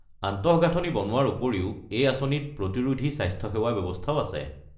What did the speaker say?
আন্তঃগাঁথনি বনোৱাৰ উপৰিও, এই আঁচনিত প্ৰতিৰোধী স্বাস্থ্যসেৱা ব্যৱস্থাও আছে।